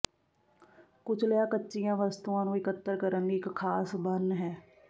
ਕੁਚਲਿਆ ਕੱਚੀਆਂ ਵਸਤੂਆਂ ਨੂੰ ਇਕੱਤਰ ਕਰਨ ਲਈ ਇਕ ਖਾਸ ਬਨ ਹੈ